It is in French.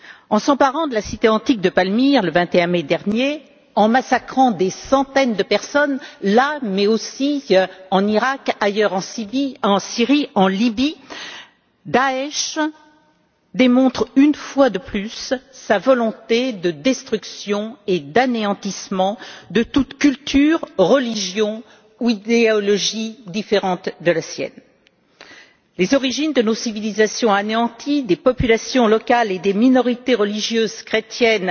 En s'emparant de la cité antique de Palmyre, le 21 mai dernier, en y massacrant des centaines de personnes, ainsi qu'en Iraq, ailleurs en Syrie et en Libye, le groupe État islamique démontre, une fois de plus, sa volonté de destruction et d'anéantissement de toute culture, religion ou idéologie différente de la sienne. Les origines de nos civilisations sont anéanties, des populations locales et des minorités religieuses chrétiennes,